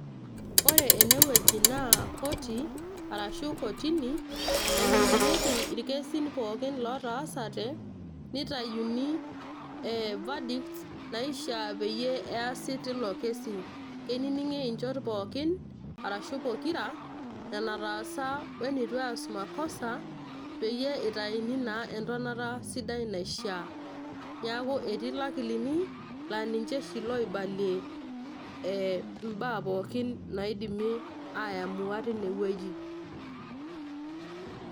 Ore ene wueji naa koti arashu kotini nainingieki pookin lootaasate nitayuni verdicts naishiaa peyie easi tilo kesi. keininingi inchot pookin arashu pokira enataasa we nitu eas makosa peyie itaini naa entonota sidai naishiaa. neaku etii lakilini naa ninche oshi loibalie e mbaa pookin naidimi ayamua tine wueji .